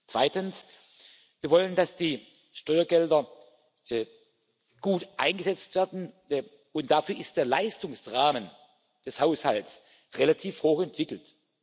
Zweitens Wir wollen, dass die Steuergelder gut eingesetzt werden, und dafür ist der Leistungsrahmen des Haushalts relativ hoch entwickelt.